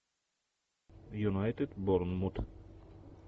юнайтед борнмут